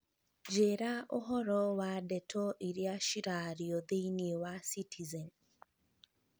njīra ūhoro wa ndeto iria ciraario thīinī wa citizen